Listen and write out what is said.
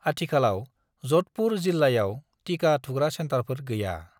आथिखालाव जधपुर जिल्लायाव टिका थुग्रा सेन्टारफोर गैया।